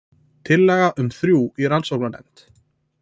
Tillaga um þrjú í rannsóknarnefnd